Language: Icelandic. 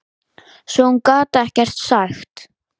Svo hún gat ekkert sagt.